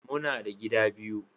Muna da gida biyu